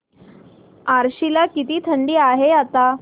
आश्वी ला किती थंडी आहे आता